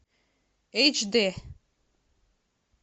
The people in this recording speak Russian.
эйч д